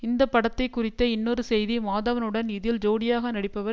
இந்த படத்தை குறித்த இன்னொரு செய்தி மாதவனுடன் இதில் ஜோடியாக நடிப்பவர்